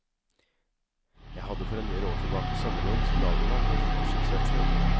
Jeg hadde for en del år tilbake sommerjobb som lagermann på et lite skipsverksted.